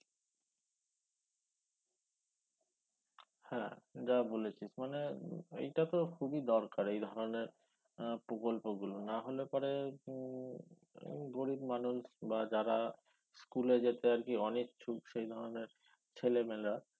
হ্যা যা বলেছিস মানে এইটাতো খুবই দরকার এই ধরনের আহ প্রকল্পগুলো না হলে পরে উম গরীব মানুষ বা যারা school এ যেতে আরকি অনিচ্ছুক সেই ধরনের ছেলেমেয়েরা